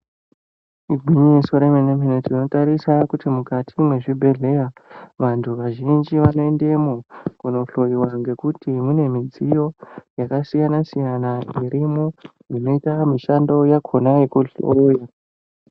Igwanyiso remene mene , tinotarisa kuti mukati mwezvibhedhleya vantu vazhinji vanoendemo kunohloiwa ngekuti mune midziyo yakasiyana siyana irimwo inoita mishando yakona yekuhloisa